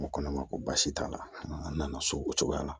N ko ne ma ko baasi t'a la an nana so o cogoya la